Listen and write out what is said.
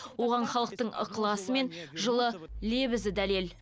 оған халықтың ықыласы мен жылы лебізі дәлел